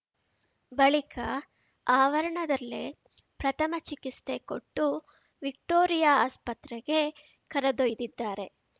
ಬಳಿಕ ಆವರಣದಲ್ಲೇ ಪ್ರಥಮ ಚಿಕಿಸ್ತೆ ಕೊಟ್ಟು ವಿಕ್ಟೋರಿಯಾ ಆಸ್ಪತ್ರೆಗೆ ಕರೆದೊಯ್ದಿದ್ದಾರೆ